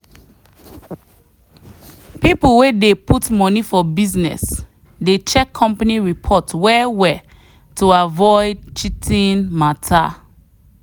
people way put money for business dey check company report well well to avoid cheating matter.